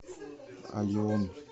алион